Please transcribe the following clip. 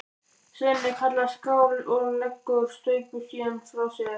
Svenni kallar skál og leggur staupið síðan frá sér.